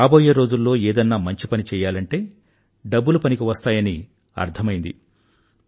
రాబోయే రోజుల్లో ఏదన్నా మంచి పని చెయ్యాలంటే డబ్బులు పనికివస్తాయని అర్థమైంది